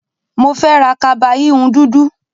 Mo fẹ́ ra kaba híhun dúdú.